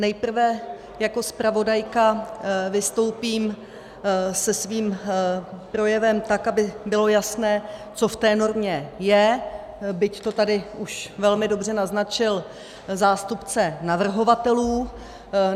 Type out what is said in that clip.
Nejprve jako zpravodajka vystoupím se svým projevem tak, aby bylo jasné, co v té normě je, byť to tady už velmi dobře naznačil zástupce navrhovatelů.